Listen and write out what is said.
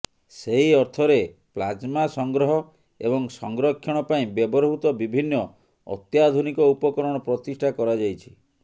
ସେହି ଅର୍ଥରେ ପ୍ଲାଜମା ସଂଗ୍ରହ ଏବଂ ସଂରକ୍ଷଣ ପାଇଁ ବ୍ୟବହୃତ ବିଭିନ୍ନ ଅତ୍ୟାଧୁନିକ ଉପକରଣ ପ୍ରତିଷ୍ଠା କରାଯାଇଛି